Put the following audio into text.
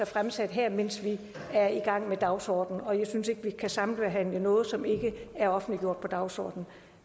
fremsat her mens vi er i gang med dagsordenen og jeg synes ikke vi kan sambehandle noget som ikke er offentliggjort på dagsordenen